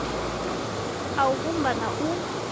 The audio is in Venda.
a u vhumba na u